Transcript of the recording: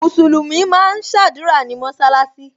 Musulumi máa ń sadura ní mọsalasi